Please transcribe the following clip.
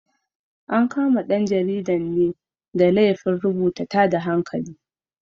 An kama ɗan jaridan ne da laifin rubuta tada hankali.